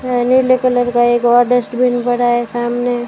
अह नीले कलर का एक और डस्टबिन पड़ा है सामने।